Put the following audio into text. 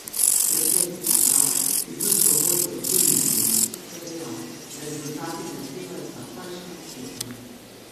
Predsednik uprave, ki družbo vodi od junija letos, je dejal, da rezultati zahtevajo takojšnje ukrepanje.